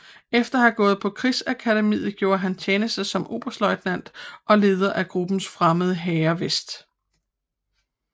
Efter at have gået på krigsakademiet gjorde han tjeneste som oberstløjtnant og leder af gruppen Fremmede Hære Vest